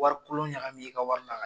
Wari kolon ɲagami i ka wari la ka